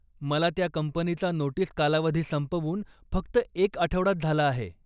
मला त्या कंपनीचा नोटिस कालावधी संपवून फक्त एक आठवडाच झाला आहे.